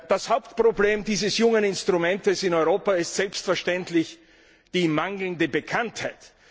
Das Hauptproblem dieses jungen Instruments in Europa ist selbstverständlich die mangelnde Bekanntheit.